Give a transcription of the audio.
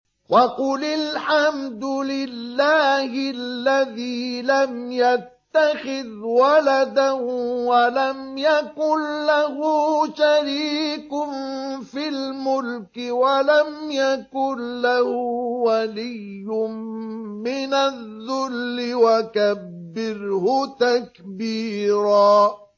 وَقُلِ الْحَمْدُ لِلَّهِ الَّذِي لَمْ يَتَّخِذْ وَلَدًا وَلَمْ يَكُن لَّهُ شَرِيكٌ فِي الْمُلْكِ وَلَمْ يَكُن لَّهُ وَلِيٌّ مِّنَ الذُّلِّ ۖ وَكَبِّرْهُ تَكْبِيرًا